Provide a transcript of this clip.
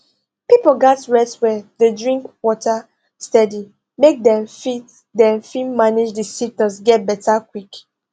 pipo gatz rest well dey drink water steady make dem fit dem fit manage di symptoms get beta quick